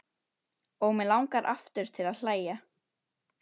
Og mig langar aftur til að hlæja.